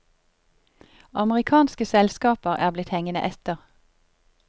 Amerikanske selskaper er blitt hengende etter.